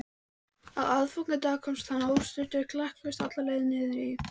Á aðfangadag komst hann óstuddur klakklaust alla leið niður í